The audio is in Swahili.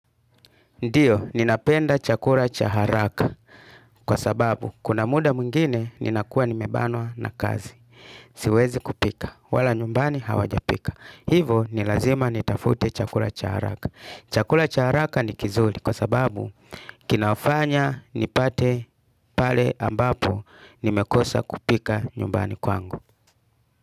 Ndiyo, ninapenda chakula cha haraka kwa sababu kuna muda mwingine ninakua nimebanwa na kazi. Siwezi kupika. Wala nyumbani hawajapika. Hivo ni lazima nitafute chakula cha haraka. Chakula cha haraka ni kizuri kwa sababu kinafanya nipate pale ambapo nimekosa kupika nyumbani kwangu.